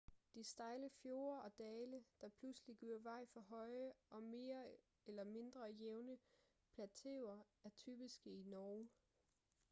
de stejle fjorde og dale der pludselig giver vej for høje og mere eller mindre jævne plateauer er typiske i norge